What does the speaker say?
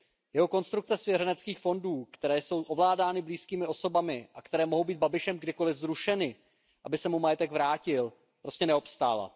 Jeho konstrukce svěřeneckých fondů, které jsou ovládány blízkými osobami a které mohou být Babišem kdykoliv zrušeny, aby se mu majetek vrátil, prostě neobstála.